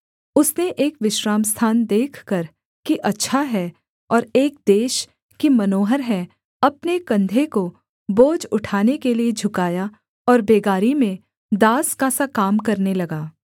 उसने एक विश्रामस्थान देखकर कि अच्छा है और एक देश कि मनोहर है अपने कंधे को बोझ उठाने के लिये झुकाया और बेगारी में दास का सा काम करने लगा